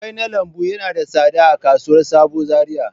Kwai na lambu yana da tsada a kasuwar sabo Zariya.